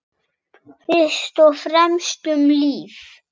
Fyrst og fremst um líf.